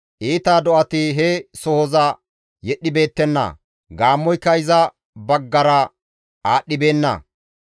Iita do7ati he sohoza yedhdhibeettenna; gaammoyka iza baggara aadhdhibeenna.